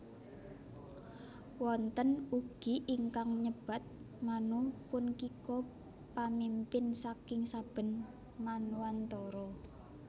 Wonten ugi ingkang nyebat Manu punkika pamimpin saking saben manwantara